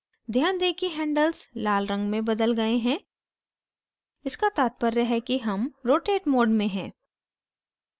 ध्यान दें कि handles लाल रंग में बदल गए हैं इसका तात्पर्य है कि हम rotate mode में हैं